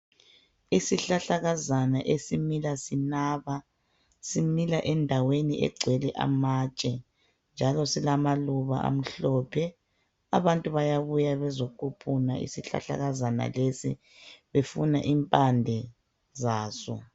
Isihlahlakazana esimila sinaba, simila endaweni egcwele amatshe njalo silamaluba amhlophe. Abantu bayabuya bezoquphuna isihlahlakazana leso befuna impande saso.